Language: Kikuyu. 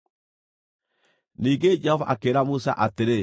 Ningĩ Jehova akĩĩra Musa atĩrĩ,